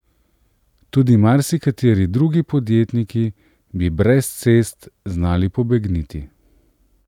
Tudi marsikateri drugi podjetniki bi brez cest znali pobegniti.